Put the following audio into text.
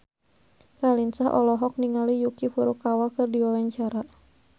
Raline Shah olohok ningali Yuki Furukawa keur diwawancara